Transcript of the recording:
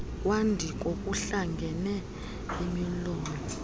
kwadiko kuhlangene imilowo